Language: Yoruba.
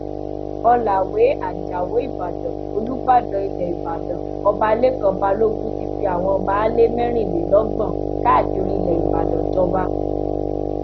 ọlàwé ajáò ìbàdàn olùbàdàn ilẹ ìbàdàn ọba lẹkàn balógun ti fi àwọn baálé mẹrìnlélọgbọn káàkiri ilẹ ìbàdàn jọba